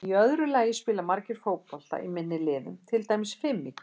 Í öðru lagi spila margir fótbolta í minni liðum, til dæmis fimm í hverju liði.